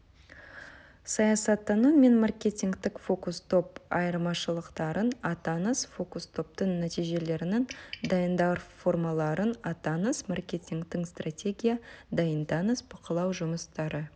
саясаттану мен маркетингтік фокус-топ айырмашылықтарын атаңыз фокус-топтың нәтижелерін дайындау формаларын атаңыз маркетингтік стратегия дайындаңыз бақылау жұмыстары